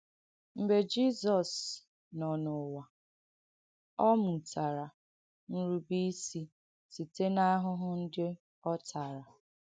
Mgbe Jìzọs nọ n’ụ̀wà, ọ “mù̀tàrà nrù̀bèìsì síte n’ahụ̀hụ ndị̀ ọ tὰrà.”